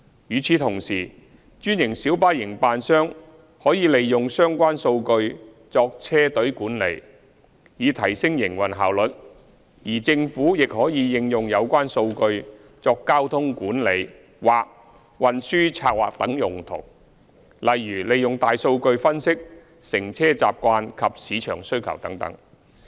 與此同時，專線小巴營辦商可利用相關數據作車隊管理，以提升營運效率；而政府亦可應用有關數據作交通管理或運輸策劃等用途，例如利用大數據分析乘車習慣及市場需求等。